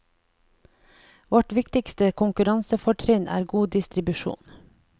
Vårt viktigste konkurransefortrinn er god distribusjon.